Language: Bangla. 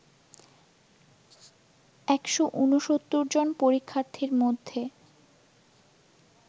১৬৯ জন পরীক্ষাথীর মধ্যে